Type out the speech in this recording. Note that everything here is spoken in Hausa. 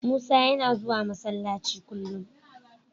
Musa yana zuwa Masallaci kullum.